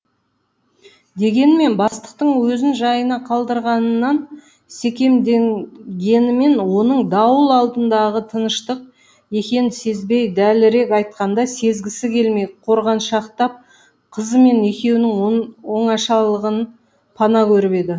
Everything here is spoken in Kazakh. дегенмен бастықтың өзін жайына қалдырғанынан секемденгенімен оның дауыл алдындағы тыныштық екенін сезбей дәлірек айтқанда сезгісі келмей қорғаншақтап қызымен екеуінің оңашалығын пана көріп еді